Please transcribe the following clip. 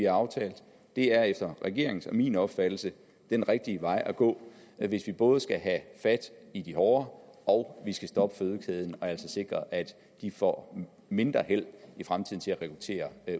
aftalt det er efter regeringens og min opfattelse den rigtige vej at gå hvis vi både skal fat i de hårde og vi skal stoppe fødekæden og altså sikre at de får mindre held i fremtiden til at rekruttere